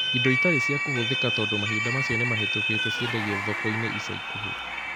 indo itarĩ cia kũhũthĩka tondũ mahinda macio nimahĩtukĩte ciendagio thoko-inĩ ica ikuhĩ